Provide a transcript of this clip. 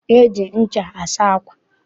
E ji ncha asa ákwà.